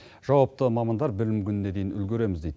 жауапты мамандар білім күніне дейін үлгереміз дейді